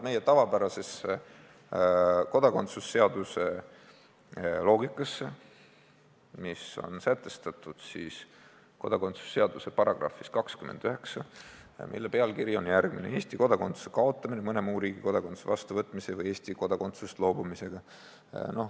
Toimitakse meie kodakondsuse seaduse tavapärase loogika järgi, mis on sätestatud kodakondsuse seaduse §-s 29, mille pealkiri on "Eesti kodakondsuse kaotamine mõne muu riigi kodakondsuse vastuvõtmise või Eesti kodakondsusest loobumisega".